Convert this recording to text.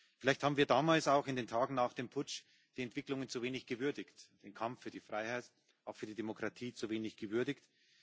Vielleicht haben wir damals auch, in den Tagen nach dem Putsch, die Entwicklungen zu wenig gewürdigt, den Kampf für die Freiheit auch für die Demokratie zu wenig gewürdigt.